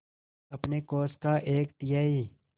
अपने कोष का एक तिहाई